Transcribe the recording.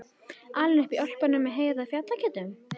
Alinn upp í Ölpunum með Heiðu og fjallageitunum?